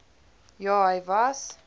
ja hy was